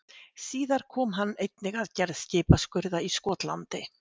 Síðar kom hann einnig að gerð skipaskurða í Skotlandi.